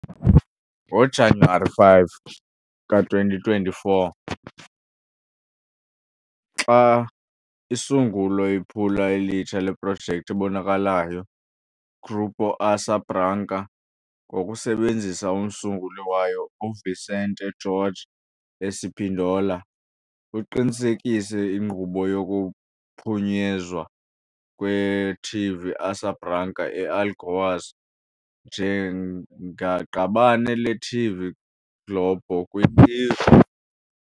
NgoJanuwari 5, i-2024, xa isungula iphulo elitsha leprojekthi ebonakalayo, Grupo Asa Branca, ngokusebenzisa umsunguli wayo uVicente Jorge Espíndola, uqinisekise inkqubo yokuphunyezwa kweTV Asa Branca e-Alagoas njengaqabane leTV Globo kwil